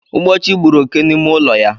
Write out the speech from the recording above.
Ugbochi gburu oké n'ime ụlọ ya